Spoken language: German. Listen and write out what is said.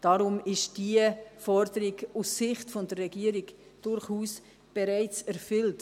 Deshalb ist diese Forderung aus Sicht der Regierung durchaus bereits erfüllt.